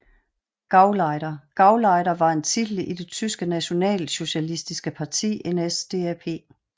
GauleiterGauleiter var en titel i det tyske nationalsocialistiske parti NSDAP